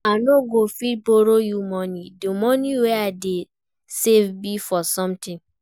I no go fit borrow you money, the money wey I dey save be for something